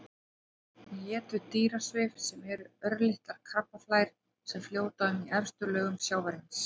Hún étur dýrasvif sem eru örlitlar krabbaflær sem fljóta um í efstu lögum sjávarins.